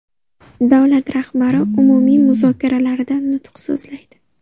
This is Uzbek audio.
Davlat rahbari umumiy muzokaralarida nutq so‘zlaydi.